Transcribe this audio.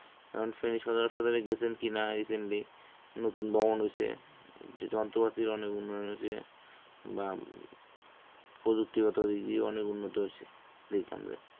কারণ সেই সদর হাসপাতালে গেছেন কিনা recently নতুন ভবন হইছে, যন্ত্রপাতির অনেক উন্নয়ন হইছে বা প্রযুক্তিগত দিক দিয়ে অনেক উন্নত হইছে এই কারণে